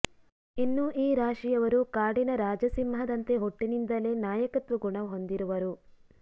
ಇನ್ನು ಈ ರಾಶಿಯವರು ಕಾಡಿನ ರಾಜ ಸಿಂಹದಂತೆ ಹುಟ್ಟಿನಿಂದಲೇ ನಾಯಕತ್ವ ಗುಣ ಹೊಂದಿರುವರು